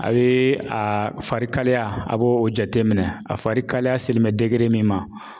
A bɛ a fari kalaya a b'o jateminɛ, a fari kalaya selen bɛ min ma ,